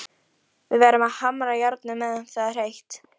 Við verðum að hamra járnið meðan það er heitt.